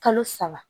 Kalo saba